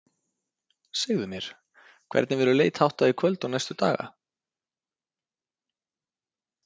Segðu mér, hvernig verður leit háttað í kvöld og næstu daga?